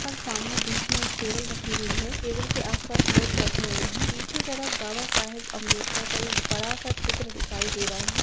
और सामने बीच मे एक टेबल रखी हुई है टेबल के आस-पास लोग बैठे हुए है पीछे तरफ बाबा साहेब अम्बेडकर का एक बड़ा-सा चित्र दिखाई दे रहा है।